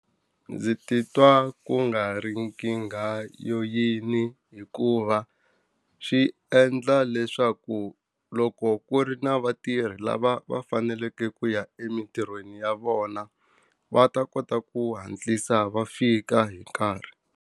Ndzi titwa ku nga ri nkingha yo yini hikuva, swi endla leswaku loko ku ri na vatirhi lava va faneleke ku ya emitirhweni ya vona, va ta kota ku hatlisa va fika hi nkarhi.